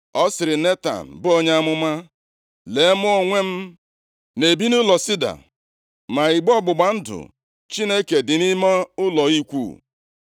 ọ sịrị Netan, bụ onye amụma, “Lee, mụ onwe m na-ebi nʼụlọ sida, ma igbe ọgbụgba ndụ Chineke dị nʼime ụlọ ikwu.”